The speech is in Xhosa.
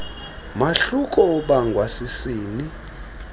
mahluko obangwa sisini